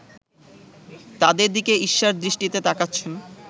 তাদের দিকে ঈর্ষার দৃষ্টিতে তাকাচ্ছেন